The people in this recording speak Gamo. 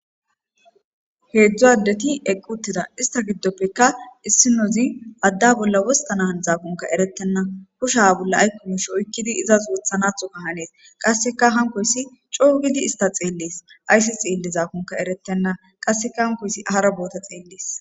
Heedzdzu addeti eqquttida ista giddoppekka issinozi adda bolla wosta naan zaakunka erettenna kusha bolla aykkumush oykkidi izas wothanatho ka hanees qasseka hankoyssi coo gidi ista xeellees ayssi xeelle zaakunka erettenna qasseka hankoysi ahara boota xeellees.